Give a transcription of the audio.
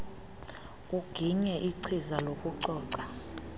uginye ichiza lokucoca